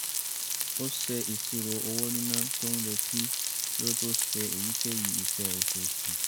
ó ṣe ìṣirò owó níná tó ń retí kí ó tó ṣe èyíkéyìí iṣẹ́ oṣooṣù